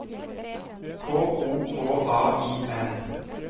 K O K A I N